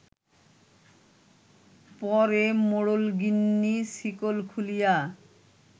পরে মোড়লগিন্নি শিকল খুলিয়া